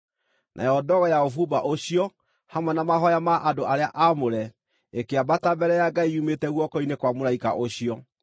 Nayo ndogo ya ũbumba ũcio, hamwe na mahooya ma andũ arĩa aamũre, ĩkĩambata mbere ya Ngai yumĩte guoko-inĩ kwa mũraika ũcio.